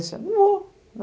Não vou.